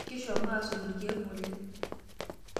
Kishomo aasotu ilkeek ng'ole.